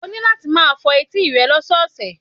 O ní láti máa fọ etí rẹ lọ́sọ̀ọ̀sẹ̀